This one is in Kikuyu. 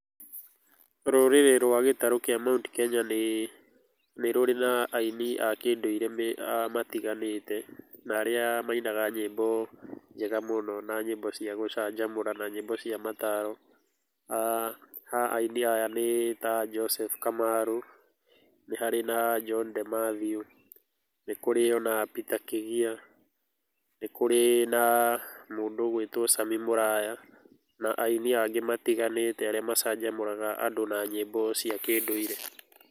Rũrĩrĩ rwa gĩtarũ kĩa Mount Kenya nĩ rũrĩ na aini a kĩndũire matiganĩte na arĩa mainaga nyĩmbo njega mũno na nyĩmbo cia gũcanjamũra na nyĩmbo cia mataro. Ha aini aya nĩ ta Joseph Kamarũ, nĩ harĩ na John De Matthew, nĩ kũrĩ o na Peter Kĩgia, nĩ kũrĩ na mũndũ ũgwĩtwo Sammy Mũraya na aini anĩ matiganĩte arĩa macanjamũraga andũ na nyĩmbo cia kĩndũire.